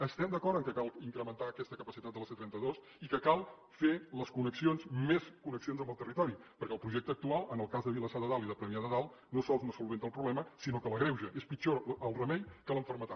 estem d’acord que cal incrementar aquesta capacitat de la c trenta dos i que cal fer més connexions amb el territori perquè el projecte actual en el cas de vilassar de dalt i de premià de dalt no sols no soluciona el problema sinó que l’agreuja és pitjor el remei que la malaltia